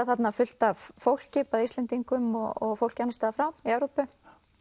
þarna fullt af fólki bæði Íslendingum og fólki annars staðar frá í Evrópu